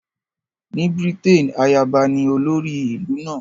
Ní Britain, ayaba ní olórí ìlú náà